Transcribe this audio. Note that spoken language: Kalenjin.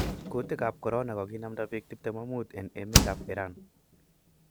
Kutik ap Korona koginamda pik 25 en emet ap iran.